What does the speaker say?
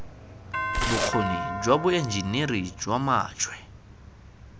bokgoni jwa boenjiniri jwa majwe